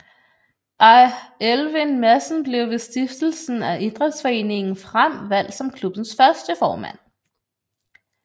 Elvind Madsen blev ved stiftelsen af Idrætsforeningen Frem valgt som klubbens første formand